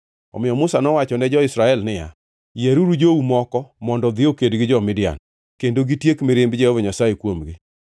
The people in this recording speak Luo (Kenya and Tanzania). Omiyo Musa nowacho ne jo-Israel niya, “Yieruru jou moko mondo odhi oked gi jo-Midian kendo gitiek mirimb Jehova Nyasaye kuomgi.